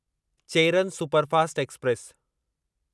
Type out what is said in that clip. Cheran superfast express